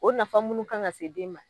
O nafa munnu kan ka se den ma